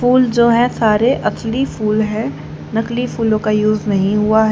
फूल जो है सारे असली फूल है नकली फूलो का यूज नही हुआ है।